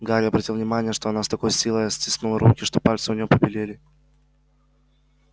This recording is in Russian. гарри обратил внимание что она с такой силой стиснула руки что пальцы у нее побелели